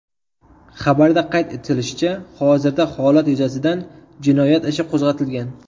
Xabarda qayd etilishicha, hozirda holat yuzasidan jinoyat ishi qo‘zg‘atilgan.